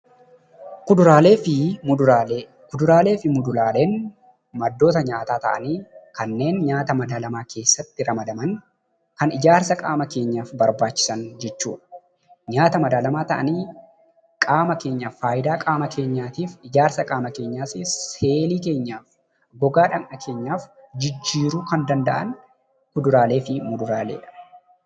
Kuduraalee fi muduraaleen maddoota nyaataa ta'anii kanneen nyaata madalaamaa keessatti ramadaman kan ijaarsa qaama keenyaaf, seelii keenya haaromsuuf, gogaa dhagna keenyaaf barbaachisan jechuudha.